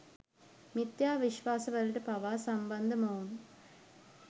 මිත්‍යා විශ්වාස වලට පවා සම්බන්ධ මොවුන්